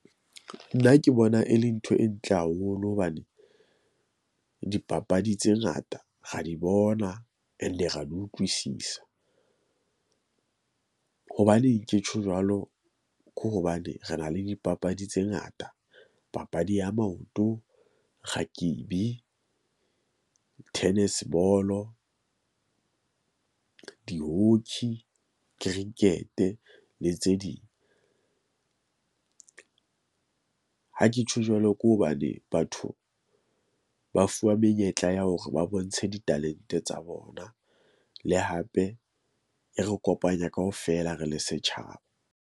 Nna ke bona e le ntho e ntle haholo hobane dipapadi tse ngata ra di bona, and re a di utlwisisa . Hobaneng ke tjho jwalo? Ko hobane re na le dipapadi tse ngata. Papadi ya maoto, rakebi, tennis ball-o, di-hockey, cricket-e le tse ding . Ha ke tjho jwalo, ke hobane batho ba fuwa menyetla ya hore ba bontshe di-talent-e tsa bona le hape e re kopanya kaofela. Re le setjhaba.